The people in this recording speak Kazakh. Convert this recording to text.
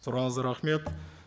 сұрағыңызға рахмет